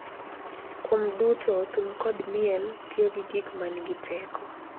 Kuom duto, thum kod miel tiyo kaka gik ma nigi teko.